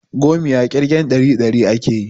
Gomiya ƙirgen ɗari ɗari akeyi